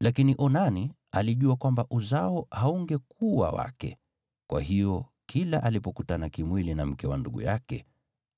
Lakini Onani alijua kwamba uzao haungekuwa wake, kwa hiyo kila alipokutana kimwili na mke wa ndugu yake,